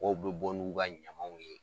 bɛ bɔ n'u ka ɲamaw ye